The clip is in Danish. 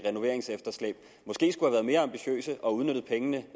renoveringsefterslæb måske skulle have været mere ambitiøse og udnyttet pengene